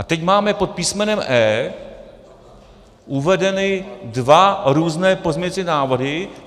A teď máme pod písmenem E uvedeny dva různé pozměňovací návrhy.